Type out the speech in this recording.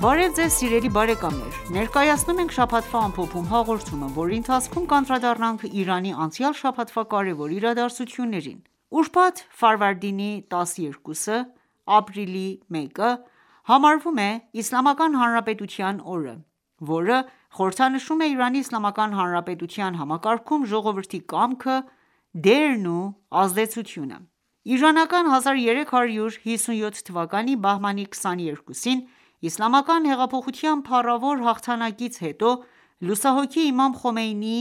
Բարև Ձեզ սիրելի բարեկամներ: Ներկայացնում ենք «Շաբաթվա ամփոփում» հաղորդումը, որի ընթացքում կանդրադառնանք Իրանի անցյալ շաբաթվա կարևոր իրադարձություններին: Ուրբաթ ֆարվարդինի 12-ը համարվում է Իսլամական Հանրապետության oրը, որը խորհրդանշում է Իրանի Իսլամական Հանրապետության համակարգում ժողովրդի կամքը, դերն ու ազդեցությունը։ 1357 թվականի Բահմանի 22-ին, Իսլամական հեղափոխության փառավոր հաղթանակից հետո, լուսահոգի Իմամ Խոմեյնիի